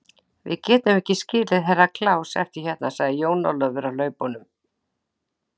Við getum ekki skilið Herra Kláus eftir hérna, sagði Jón Ólafur á hlaupunum.